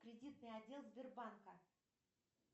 кредитный отдел сбербанка